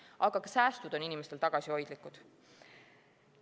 Aga ka säästud on inimestel tagasihoidlikud.